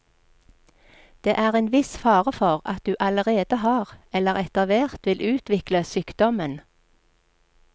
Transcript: Det er en viss fare for at du allerede har eller etterhvert vil utvikle sykdommen.